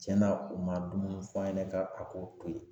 Tiɲɛna u ma dumuni f'a ɲɛna ka bi ka k'o to yen